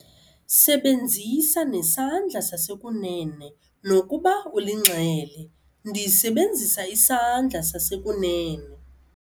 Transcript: Sebenzisa nesandla sasekunene nokuba ulinxele. ndisebenzisa isandla sasekunene